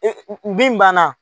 E min banna.